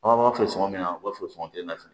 An b'a fɔ sɔngɔ min na u b'a fɔ sɔngɔ kelen nafini